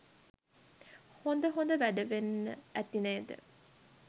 හොඳ හොඳ වැඩ වෙන්න ඇති නේද?